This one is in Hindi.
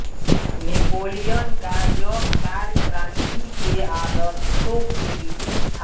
नेपोलियन का यह कार्य क्रांति के आदर्शों के विपरीत था